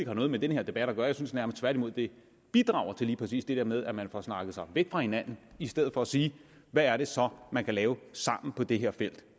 har noget med den her debat at gøre jeg synes nærmest tværtimod det bidrager til lige præcis det der med at man får snakket sig væk fra hinanden i stedet for at sige hvad er det så man kan lave sammen på det her felt